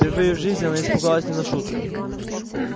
впервые в жизни она испугалась не на шутку